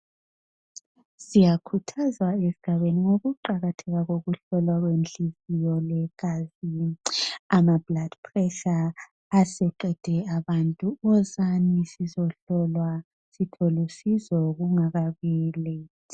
Siyakhuthazwa ezigabeni ngokuqakatheka ngokuhlolwa kwenhliziyo legazi. Ama "blood pressure" aseqede abantu. Wozani sizohlohlwa sitholusizo kungakabi "late".